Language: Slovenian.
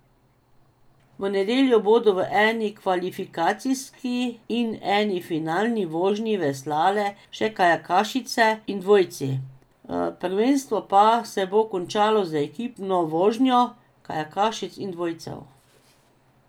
V nedeljo bodo v eni kvalifikacijski in eni finalni vožnji veslale še kajakašice in dvojci, prvenstvo pa se bo končalo z ekipno vožnjo kajakašic in dvojcev.